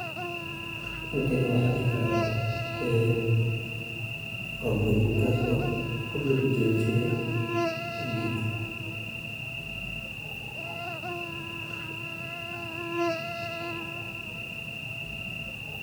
Hadiyadaha fasaxa waa mid ka mid ah siyaabaha ugu fiican ee lagu muujiyo jacaylka, qadarin, iyo mahadnaqa qoyska, saaxiibada, iyo dadka aad jeceshahay inta lagu jiro xilliyada farxadda leh sida Kirismaska, Ciidaha Islaamka, ama sannadka cusub.